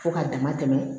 Fo ka dama tɛmɛ